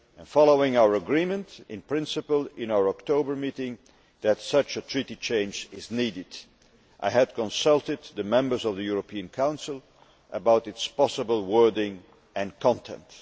Following our agreement, in principle, in our October meeting that such a Treaty change is needed, I had consulted the members of the European Council about its possible wording and content.